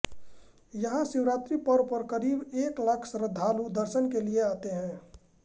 यहां शिवरात्रि पर्व पर करीब एक लाख श्रद्धालु दर्शन के लिए आते हैैँ